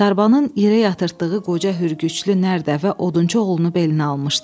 Sarbanın irəyə yırtıtdığı qoca Hürgüclü Nərdə də Odunçuoğlunu belinə almışdı.